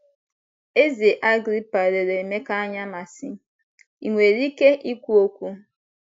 Eze Agrịpa lere Emeka anya ma sị: ‘ I nwere ike ikwu okwu? "